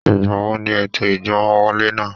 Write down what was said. Ìgbà wo ni ètò ìgbọ́mọwọlé náà?